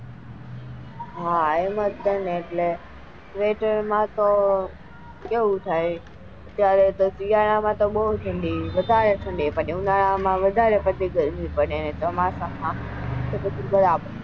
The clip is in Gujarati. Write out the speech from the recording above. હા એમ જ છે ને એટલે sweater માં તો કેવું થાય શિયાળા માં તો બાઉ ઠંડી વધારે ઠંડી પડે ઉનાળા માં પછી વધારે ગરમી પડે ચોમાસા માં તો પછી.